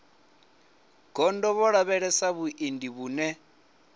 gondo vho lavhelesa vhuendi vhune